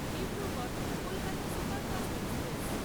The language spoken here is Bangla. Dibrugarh Kolkata superfast express